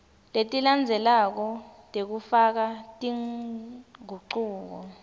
letilandzelako tekufaka tingucuko